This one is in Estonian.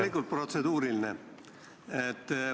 Loomulikult protseduuriline!